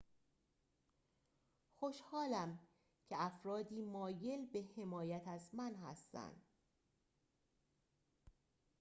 خوشحالم که افرادی مایل به حمایت از من هستند